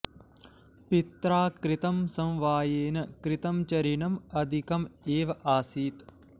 पित्रा कृतं समवायेन कृतं च ऋणम् अधिकम् एव आसीत्